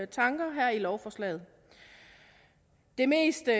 tanker her i lovforslaget det meste